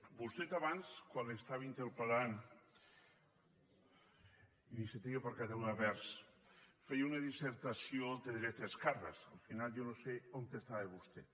vostè abans quan l’estava interpel·lant iniciativa per catalunya verds feia una dissertació de dretes esquerres al final jo no sé on estava vostè